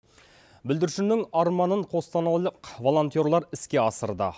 бүлдіршіннің арманын қостанайлық волонтерлар іске асырды